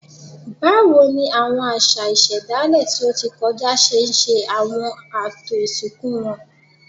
Báwo ni àwọn àṣà ìṣẹ̀dálẹ̀ tí ó ti kọjá ṣe ṣe àwọn ààtò ìsìnkú wọn?